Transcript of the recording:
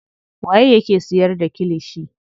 Waye yake siyar da kilishi.